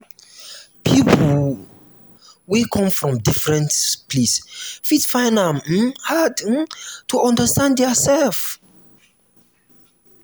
people wey come from different place fit find am um hard um to understand their sef